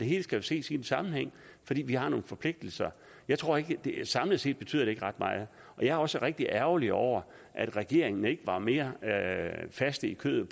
hele skal ses i sammenhæng fordi vi har nogle forpligtelser jeg tror ikke at det samlet set betyder ret meget og jeg er også rigtig ærgerlig over at regeringen ikke var mere fast i kødet